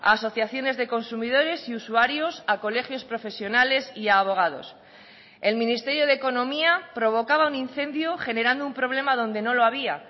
a asociaciones de consumidores y usuarios a colegios profesionales y a abogados el ministerio de economía provocaba un incendio generando un problema donde no lo había